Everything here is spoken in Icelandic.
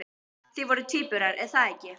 Þið voruð tvíburar, er það ekki?